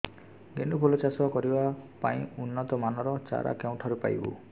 ଗେଣ୍ଡୁ ଫୁଲ ଚାଷ କରିବା ପାଇଁ ଉନ୍ନତ ମାନର ଚାରା କେଉଁଠାରୁ ପାଇବୁ